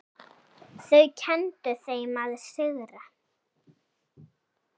Þau kenndu þeim að sigra.